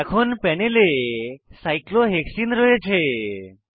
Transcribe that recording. এখন প্যানেলে cyclohexene cyclohexene রয়েছে